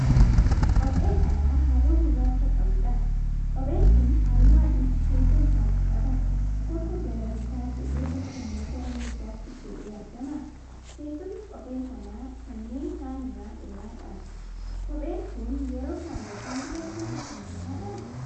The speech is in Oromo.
Qophee dhalaa halluu gurraacha qabuudha. Qopheen kun halluu adiis keessa isaatii qaba; tokko gara bitaa jedhee tokkommoo gara mirgaatti jedhee argama. Teessumni qophee kanaa kanneen kaan irra dheeraadha. Qopheen kun yeroo kaawwatan dubartootaf mijataadhaa?